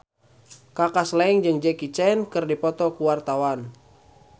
Kaka Slank jeung Jackie Chan keur dipoto ku wartawan